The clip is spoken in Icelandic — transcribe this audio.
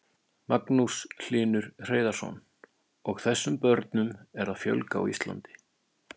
Magnús Hlynur Hreiðarsson: Og þessum börnum er að fjölga á Íslandi?